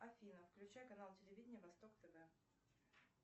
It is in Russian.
афина включай канал телевидения восток тв